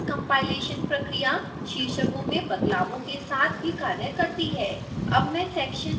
यह multi pass compilation प्रक्रिया शीर्षकों में बदलावों के साथ भी कार्य करती है